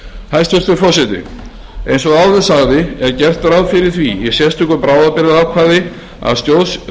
hæstvirtur forseti eins og áður sagði er gert ráð fyrir því í sérstöku bráðabirgðaákvæði að stjórn